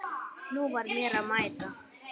Nú var mér að mæta!